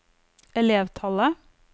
elevtallet